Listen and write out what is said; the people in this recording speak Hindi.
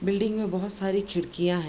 बिल्डिंग मे बहोत सारी खिड़कियाँ हैं।